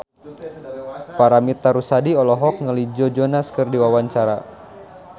Paramitha Rusady olohok ningali Joe Jonas keur diwawancara